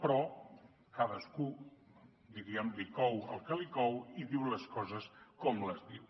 però a cadascú diguem ne li cou el que li cou i diu les coses com les diu